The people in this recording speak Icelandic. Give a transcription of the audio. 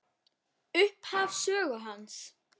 Upphaf sögu hans.